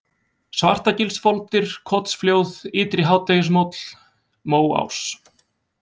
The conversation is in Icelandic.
Svartagilsfoldir, Kotsflóð, Ytri-Hádegishóll, Móás